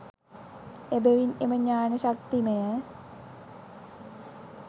එබැවින් එම ඥාන ශක්තිමය